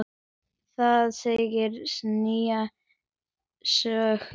Það segir sína sögu.